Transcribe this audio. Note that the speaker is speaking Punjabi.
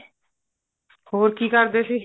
ਹੋਰ ਕੀ ਕਰਦੇ ਸੀ